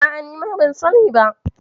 A'a, nima ban sani ba.